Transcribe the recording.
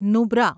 Nubra